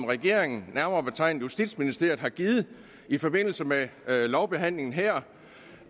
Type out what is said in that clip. regeringen nærmere betegnet justitsministeriet har givet i forbindelse med lovbehandlingen her